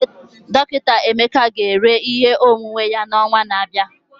Dọkịta Emeka ga-ere ihe onwunwe ya n'ọnwa na-abịa.